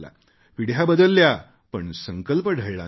पिढ्या बदलल्या पण संकल्प ढळला नाही